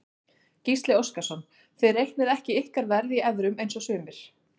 Gísli Óskarsson: Þið reiknið ekki ykkar verð í evrum eins og sumir?